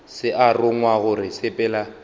se a rongwa gore sepela